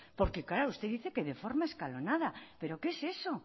porque claro usted dice que de forma escalonada pero qué es eso